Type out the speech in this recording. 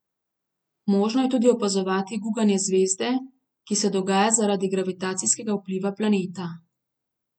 Možno je tudi opazovati guganje zvezde, ki se dogaja zaradi gravitacijskega vpliva planeta.